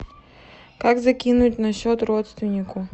как закинуть на счет родственнику